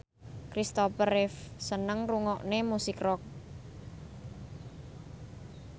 Kristopher Reeve seneng ngrungokne musik rock